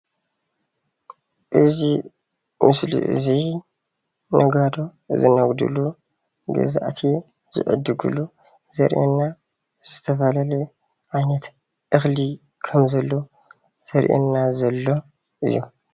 እዚ ምስሊ እዚይ ነጋዶ ዝነግዱሉን ገዛእቲ ዝዕድጉሉ ዘርእየና ዝተፈላለየ ዓይነት እኽሊ ኸምዘሎ ዘርአየና ዘሎ እዩ።